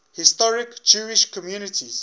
historic jewish communities